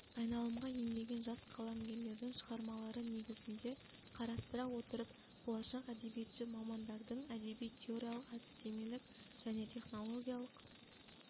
айналымға енбеген жас қаламгерлердің шығармалары негізінде қарастыра отырып болашақ әдебиетші мамандардың әдеби-теориялық әдістемелік және технологиялық